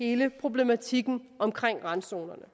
hele problematikken om randzonerne